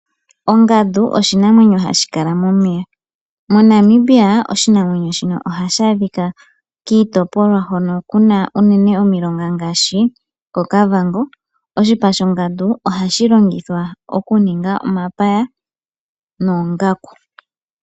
Ongadu oshinamwenyo hashi kala momeya. MoNamibia oshinamwenyo ohashi adhika kiitopolwa hono kuna unene omilonga ngaashi koKavango. Oshipa shongadu ohashi longithwa oku ninga omapaya noongaku.